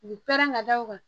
U bi pɛrɛn ka da o kan